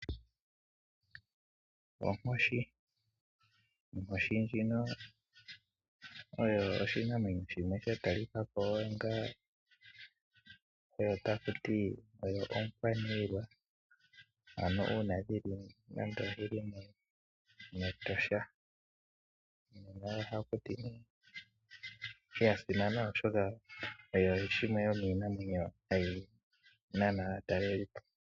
Onkoshi Onkoshi ndjino oyo oshinamwenyo shimwe sha talika ko nenge tatu ti oyo omukwaniilwa, ano uuna dhi li mEtosha. Oya simana, oshoka oyo yimwe yomiinamwenyo mbyoka hayi nana aatalelipo.